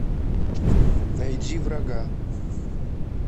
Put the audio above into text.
найди врага